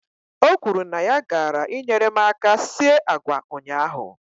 O kwuru na ya gaara I nyere m aka sie agwa ụnyaahụ.